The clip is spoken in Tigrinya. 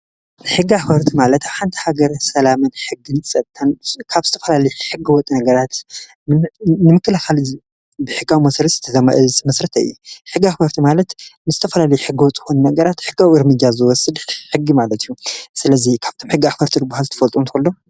ሕጋ ሕወርቲ ማለታ ሓንቲ ሃገር ሰላምን ሕጊሊጸታን ካብ ዝተፈላልት ሕጐ ወጥ ነገራት ንምክልኻል ብሕጋዊ ወሥርስ ዝተዘመእዝ ምሥረተየ ሕጋ ሕወርቲ ማለት ምስተፈላል ሕጐወጥኹን ነገራት ሕጋዊ ርሚጃ ዝወስድ ሕጊ ማለት እዩ ስለዙይ ኻብቶም ሕጋ ሕወርቲ ርብሃ ዝትፈልጦ እንተሎ?